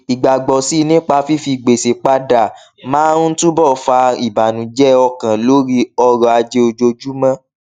ìgbàgbọ síi nípa fífi gbèsè padà máa ń túbò fa ìbànújẹ ọkàn lórí ọrọ ajé ojoojúmọ